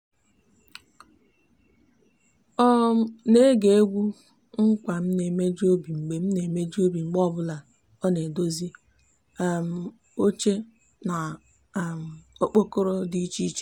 o n'ege egwu nkwa n'emeju obi mgbe n'emeju obi mgbe obula o n'edozi um oche na um okpokoro di iche iche